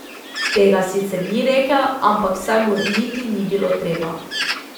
Tega sicer ni rekel, ampak saj mu niti ni bilo treba.